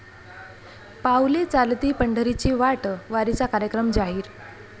पाऊले चालती पंढरीची वाट...वारीचा कार्यक्रम जाहीर